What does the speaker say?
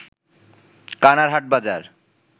কানার হাটবাজার